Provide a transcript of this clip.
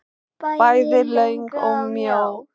Bæði löng og mjó.